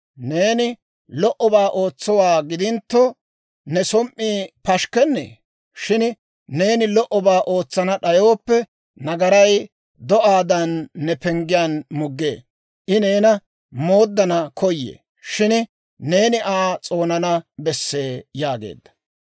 Neeni lo"obaa ootsowaa gidintto, ne som"i pashikkennee? Shin neeni lo"obaa ootsana d'ayooppe, nagaray do'aadan ne penggiyaan muggee; I neena mooddana koyee; shin neeni Aa s'oonana bessee» yaageedda.